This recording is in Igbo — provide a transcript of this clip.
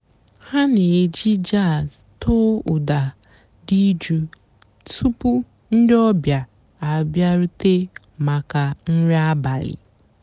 há nà-èjí jàzz tọ́ọ́ ụ́dà dị́ jụ́ụ́ túpú ndị́ ọ̀bị́á àbịárùté màkà nrí àbàlí.